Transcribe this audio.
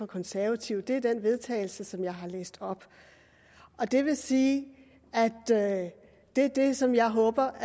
konservative er det forslag vedtagelse som jeg har læst op det vil sige at det er det som jeg håber